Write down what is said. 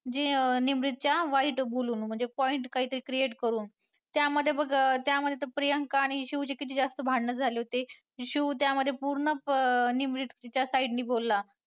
जे निमरीतच्या वाईट बोलून म्हणजे point काहीतरी create करून त्यामध्ये बघ त्यामध्ये ते प्रियांका आणि शिव चे किती जास्त भांडणं झाले होते. शिव त्यामध्ये पूर्ण अं निमरीतच्या side ने बोलला.